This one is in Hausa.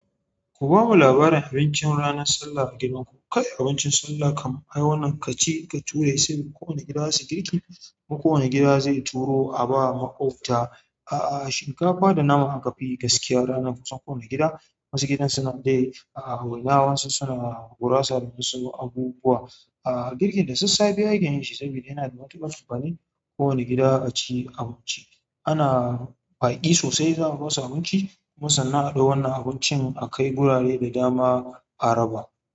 Ku bamu labarin abincin ranar sallah a gidan ku. Kai abincin sallah kam ai wannan ka ci ka ture, saboda kowane gida zasu yi girki. Kowane gida zai turo a ba maƙwabta, aa shinkafa da naman akafi yi gaskiya ranar kusan kowane gida. Wasu gidajen suna dai, aa waina wasu suna gurasa da wasu abubuwa. Aa girkin da sassafe ake yin shi sabida yana da matuƙar amfani. Kowane gida a ci abinci. Ana baƙi sosai za mu basu abinci. Kuma sannan adau wannan abincin, a kai gurare da dama a raba.